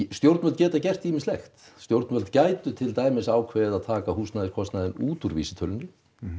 stjórnvöld geta gert ýmislegt stjórnvöld gætu til dæmis ákveðið að taka húsnæðiskostnaðinn út úr vísitölunni